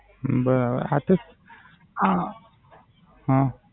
બરાબર. આ તો